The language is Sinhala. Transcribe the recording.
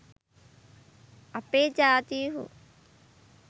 අපේ ජාතීහු